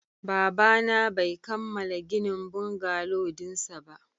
Babana bai kammala ginin bungalow dinsa ba